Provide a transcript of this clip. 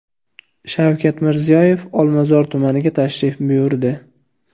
Shavkat Mirziyoyev Olmazor tumaniga tashrif buyurdi.